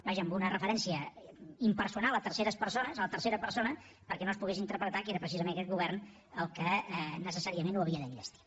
vaja amb una referència impersonal en tercera persona perquè no es pogués interpretar que era precisament aquest govern el que necessàriament ho havia d’enllestir